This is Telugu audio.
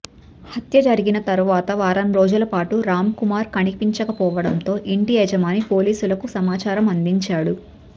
హత్య జరిగిన తర్వాత వారం రోజుల పాటు రామ్ కుమార్ కనిపించకపోవడంతో ఇంటి యజమాని పోలీసులకు సమాచారం అందించాడు